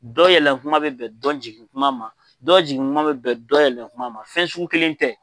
Dɔ yɛlɛn kuma bɛ bɛn dɔ jigin kuma ma, dɔ jigin kuma bɛ bɛn dɔ yɛlɛn kuma ma, fɛn sugu kelen tɛ.